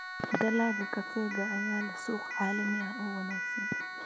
Dalagga kafeega ayaa leh suuq caalami ah oo wanaagsan.